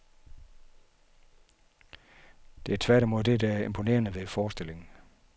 Det er tværtimod det, der er det imponerende ved forestillingen.